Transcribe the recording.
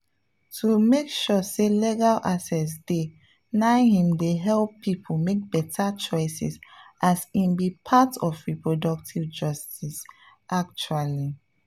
to make sure say legal access dey na him dey help people make better choices as e be part of reproductive justice actually.